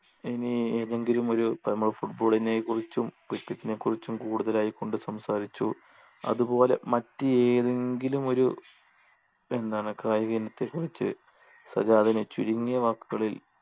ഇനി ഏതെങ്കിലും ഒരു ഇപ്പൊ നമ്മൾ football നെ കുറിച്ചും cricket നെ കുറിച്ചും കൂടുതലായി കൊണ്ട് സംസാരിച്ചു അതുപോലെ മറ്റ് ഏതെങ്കിലും ഒരു എന്താണ് കായികത്തെക്കുറിച്ച് സജാദിന് ചുരുങ്ങിയ വാക്കുകളിൽ